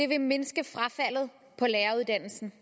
vil mindske frafaldet på læreruddannelsen